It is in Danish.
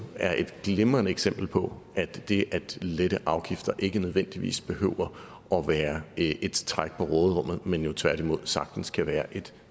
er et glimrende eksempel på at det at lette afgifter ikke nødvendigvis behøver at være et træk på råderummet men jo tværtimod sagtens kan være et